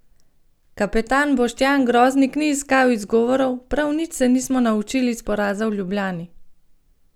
Kapetan Boštjan Groznik ni iskal izgovorov: "Prav nič se nismo naučili iz poraza v Ljubljani.